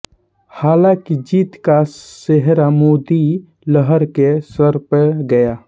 हालांकि जीत का सेहरा मोदी लहर के सर पे गया